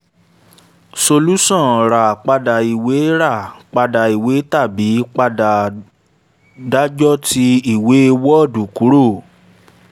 solusan ra pada iwe ra pada iwe tabi pada dajoti iwe wọ́ọ̀dù kuro